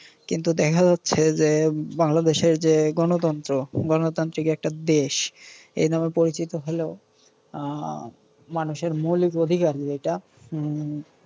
কিন্তু দেখা যাচ্ছে যে বাংলাদেশের যে গণতন্ত্র, গণতান্ত্রিক একটা দেশ- এই নামে পরিচিত হলেও আহ মানুষের মৌলিক অধিকারের যেইটা উম